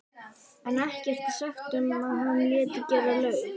en ekkert er sagt um að hann léti gera laug.